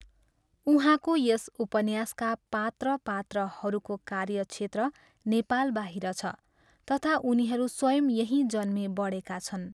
उहाँको यस उपन्यासका पात्र पात्राहरूको कार्य क्षेत्र नेपालबाहिर छ तथा उनीहरू स्वयं यहीँ जन्मे बढेका छन्।